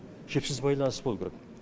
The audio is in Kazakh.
жіпсіз байланыс болу керек